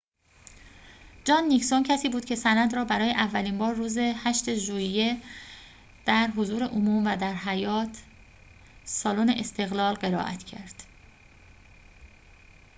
جان نیکسون کسی بود که سند را برای اولین بار روز ۸ ژوئیه در حضور عموم و در حیاط سالن استقلال قرائت کرد